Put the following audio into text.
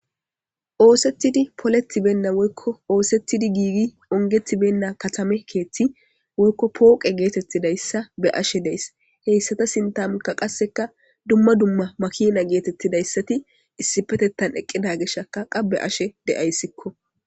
Oosetidi poletibenna woykko oosetidi giigi ongetibenna katame keeththi woykko pooqe geetettidayssa be ashe dees heyssata sintamkka qasseka dumma dumma makina geetettidayssati issipetettan eqqida geshaka qabbe ashe de'ayssikko.